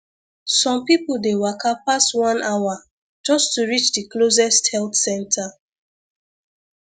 some people dey waka pass one hour just to reach the closest health center